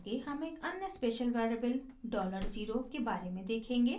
आगे हम एक अन्य स्पेशल वेरिएबल डॉलर ज़ीरो के बारे में देखेंगे